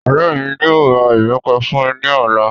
Ọrẹ mí yóò ra ìbẹ́pẹ fún mí ní ọ̀la